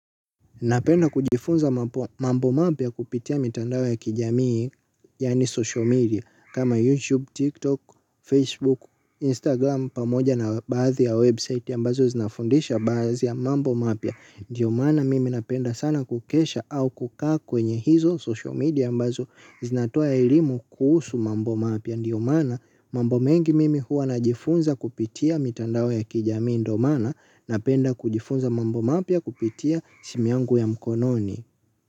Napenda kujifunza mambo mapia kupitia mitandawo ya kijamii, yani social media, kama YouTube, TikTok, Facebook, Instagram, pamoja na bathi ya website ya mbazo zinafundisha bathi ya mambo mapia. Ndiyo mana mimi napenda sana kukesha au kukaa kwenye hizo social media ambazo zinatoa elimu kuhusu mambo mapia. Ndiyo mana, mambo mengi mimi huwa najifunza kupitia mitandao ya kijami ndomana napenda kujifunza mambo mapia kupitia simuangu ya mkononi.